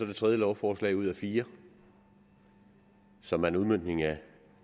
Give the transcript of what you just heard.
det tredje lovforslag ud af fire som er en udmøntning af